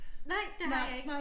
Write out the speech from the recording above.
Nej det har jeg ikke